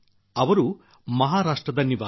ಅವರು ಮಹಾರಾಷ್ಟ್ರದ ನಿವಾಸಿ